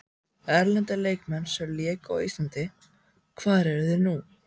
Erlendir leikmenn sem léku á Íslandi Hvar eru þeir nú?